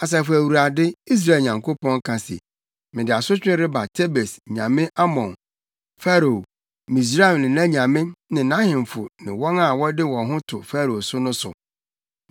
Asafo Awurade, Israel Nyankopɔn, ka se, “Mede asotwe reba Tebes nyame Amon, Farao, Misraim ne nʼanyame ne nʼahemfo ne wɔn a wɔde wɔn ho to Farao so no so.